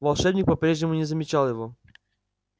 волшебник по-прежнему не замечал его